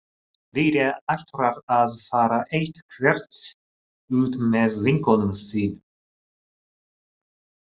Lilja ætlar að fara eitthvert út með vinkonum sínum